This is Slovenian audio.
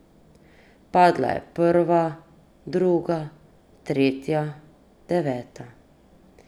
Padla je prva, druga, tretja, deveta ...